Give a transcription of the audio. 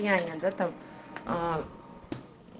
реально да там а